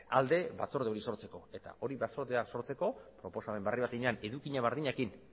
alde batzorde hori sortzeko eta hori batzordea sortzeko proposamen berri bat egin edukia berdinekin